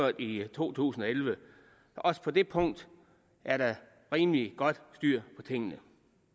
i to tusind og elleve også på det punkt er der rimelig godt styr på tingene